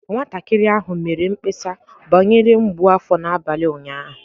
Nwatakịrị ahụ mere mkpesa banyere mgbu afọ n'abalị ụnyaahụ